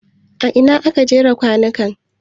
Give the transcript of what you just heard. A ina aka jera kwanukan?